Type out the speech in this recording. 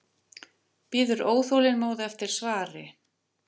Bíður óþolinmóð eftir svari.